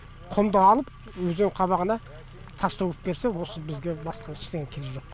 құмды алып өзен қабағына тас төгіп берсе осы бізге басқа ештеңе керегі жоқ